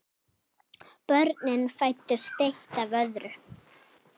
Börnin fæddust eitt af öðru.